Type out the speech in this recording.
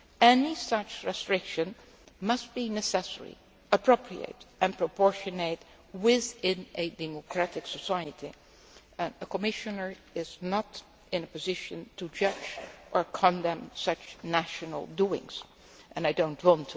Freedoms. Any such restriction must be necessary, appropriate and proportionate within a democratic society, and a Commissioner is not in a position to judge or condemn such national doings, nor do I